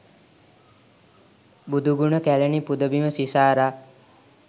බුදුගුණ කැලණි පුදබිම සිසාරා